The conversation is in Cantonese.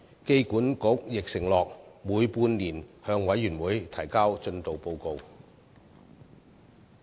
機管局亦承諾每半年向事務委員會提交進度報告。